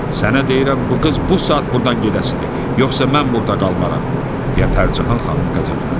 "Sənə deyirəm, bu qız bu saat burdan gedəsidir, yoxsa mən burda qalmaram," deyə Pərcahan xanım qəzəbləndi.